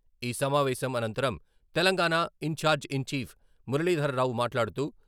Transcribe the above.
ఈ సమావేశం అనంతరం, Telangana in charge in chief Muralidhararao మాట్లాడుతూ..